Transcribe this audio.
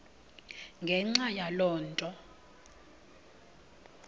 ngenxa yaloo nto